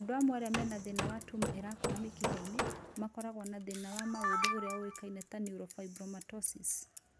Andũ amwe arĩa mena tuma irakũra mĩkiha-inĩ, makoragwo na thĩna wa maũthĩ ũrĩa ũĩkaine ta neurofibromatosis